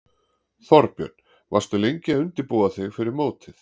Þorbjörn: Varstu lengi að undirbúa þig fyrir mótið?